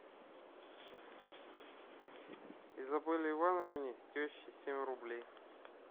изабелле ивановне теще семь рублей